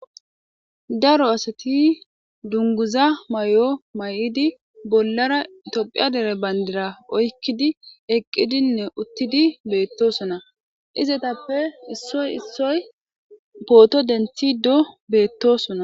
daro asati dunguza mayo mayidi bollara tophiya dere bayndira oykkidi eqqidinne uttidi beettosona, izetappe issoy issoy pooto denthido beettosona.